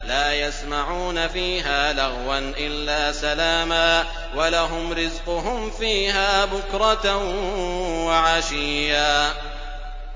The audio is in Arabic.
لَّا يَسْمَعُونَ فِيهَا لَغْوًا إِلَّا سَلَامًا ۖ وَلَهُمْ رِزْقُهُمْ فِيهَا بُكْرَةً وَعَشِيًّا